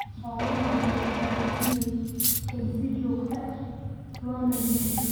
Xoolaha waxay u baahan yihiin in si joogto ah loo nadiifiyo.